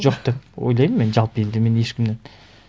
жоқ деп ойлаймын мен жалпы енді мен ешкімнен